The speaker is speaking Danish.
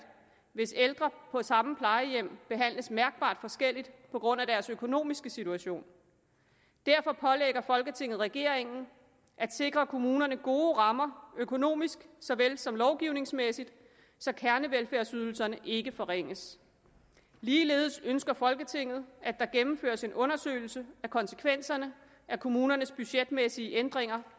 hvis ældre på samme plejehjem behandles mærkbart forskelligt på grund af deres økonomiske situation derfor pålægger folketinget regeringen at sikre kommunerne gode rammer økonomisk såvel som lovgivningsmæssigt så kernevelfærdsydelserne ikke forringes ligeledes ønsker folketinget at der gennemføres en undersøgelse af konsekvenserne af kommunernes budgetmæssige ændringer